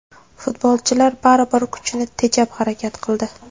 Futbolchilar baribir kuchni tejab harakat qildi.